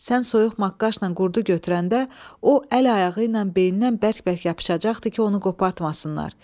Sən soyuq maqqaşla qurdu götürəndə, o əl-ayağı ilə beynindən bərk-bərk yapışacaqdı ki, onu qopartmasınlar.